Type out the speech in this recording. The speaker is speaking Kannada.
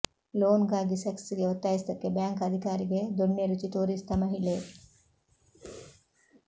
ಲೋನ್ ಗಾಗಿ ಸೆಕ್ಸ್ ಗೆ ಒತ್ತಾಯಿಸಿದ್ದಕ್ಕೆ ಬ್ಯಾಂಕ್ ಅಧಿಕಾರಿಗೆ ದೊಣ್ಣೆ ರುಚಿ ತೋರಿಸಿದ ಮಹಿಳೆ